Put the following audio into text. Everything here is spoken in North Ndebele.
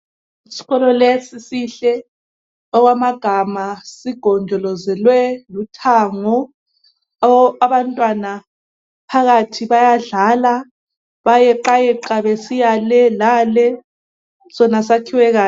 lsikolo lesi sihle okwamagama. Sigonjolozelwe luthango. Abantwana phakathi bayadlala bayeqayeqa besiya le lale. Sona sakhiwe kahle.